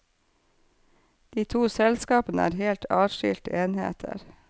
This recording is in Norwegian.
De to selskapene er helt adskilte enheter.